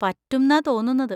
പറ്റുംന്നാ തോന്നുന്നത്.